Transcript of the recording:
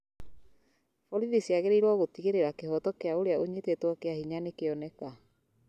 Borithi ciagĩrĩirũo gũtigĩrĩra kĩhoto kĩa ũrĩa ũnyitĩtwo kĩa hinya nĩkĩoneka